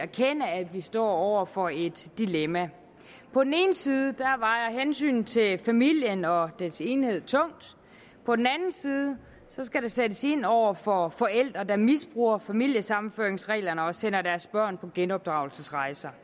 erkende at vi står over for et dilemma på den ene side vejer hensynet til familien og dens enhed tungt på den anden side skal der sættes ind over for forældre der misbruger familiesammenføringsreglerne og sender deres børn på genopdragelsesrejser